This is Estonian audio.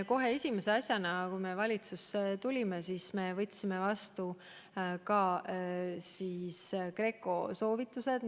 Kohe esimese asjana, kui me valitsusse tulime, võtsime vastu GRECO soovitused.